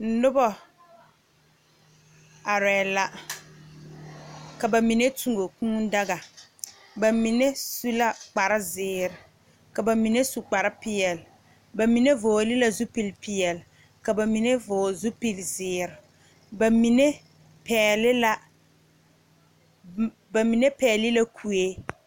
Nobɔ arɛɛ la ka ba mine tuo kūū daga ba mine su la kparezeere ka ba mine su kparepeɛle ba mine vɔɔle la zupil peɛle ka ba mine vɔɔle zipilzeere ba mine pɛɛle la ba mine pɛɛle la kuee.